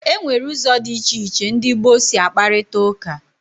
Enwere ụzọ dị iche iche ndị gboo si akparita ụka.